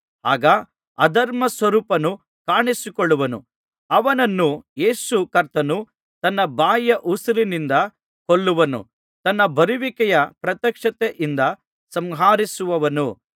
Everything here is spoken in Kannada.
ಆಗ ಅಧರ್ಮಸ್ವರೂಪನು ಕಾಣಿಸಿಕೊಳ್ಳುವನು ಅವನನ್ನು ಯೇಸು ಕರ್ತನು ತನ್ನ ಬಾಯಿಯ ಉಸಿರಿನಿಂದ ಕೊಲ್ಲುವನು ತನ್ನ ಬರುವಿಕೆಯ ಪ್ರತ್ಯಕ್ಷತೆಯಿಂದ ಸಂಹರಿಸುವನು